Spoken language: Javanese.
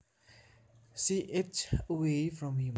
She edged away from him